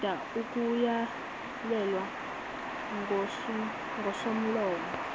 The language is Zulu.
lilinda ukuyalelwa ngusomlomo